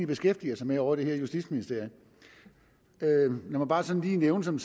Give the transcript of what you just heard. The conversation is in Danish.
beskæftiger sig med ovre i justitsministeriet lad mig bare sådan lige nævne som